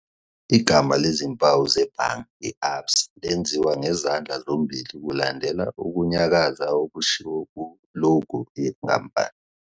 I"gama lezimpawu zebhange i-ABSA lenziwa ngezandla zombili kulandela ukunyakaza okushiwo ku-logo yenkampani.